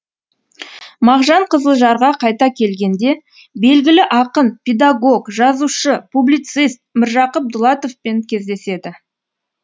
мағжан қызылжарға қайта келгенде белгілі ақын педагог жазушы публицист міржақып дулатовпен кездеседі